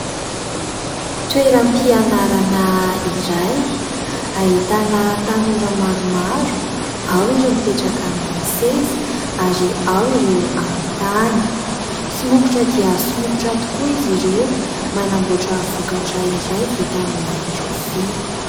Toeram-pianarana iray ahitana tanora maromaro ao ireo mipetraka amin'ny seza ary ao ireo amin'ny tany. Somokotra dia somokotra tokoa izy ireo manamboatra vokatra iray vita amin'ny rofia.